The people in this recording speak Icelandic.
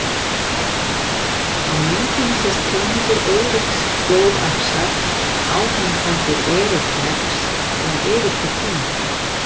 Á myndinni sést peningur Eiríks blóðaxar, á honum stendur Eric Rex eða Eiríkur konungur.